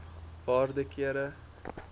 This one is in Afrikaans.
waarde kere